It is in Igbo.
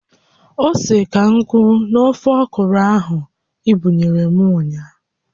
Ose ka nkụ n'oge ọkwụrụ ahụ i buyere m ụnyaahụ